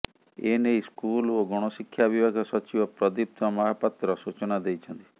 ଏନେଇ ସ୍କୁଲ ଓ ଗଣଶିକ୍ଷା ବିଭାଗ ସଚିବ ପ୍ରଦୀପ୍ତ ମହାପାତ୍ର ସୂଚନା ଦେଇଛନ୍ତି